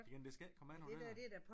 Jamen det skal ikke komme an på det da